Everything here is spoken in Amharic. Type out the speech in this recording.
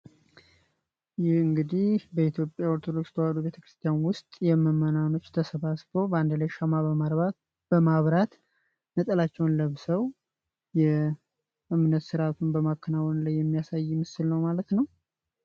ይህ እንግዲህ በኢትዮጵያ ኦርቶዶክስ ተዋህዶ ቤተክርስቲያን ውስጥ የመመናኖች ተሰባ ስበው በአንደላይ ሻማ በማብራት ነጠላቸውን ለብሰው የእምነት ሥርዓቱን በማከናወን ላይ የሚያሳይ ምስል ነው ማለት ነው።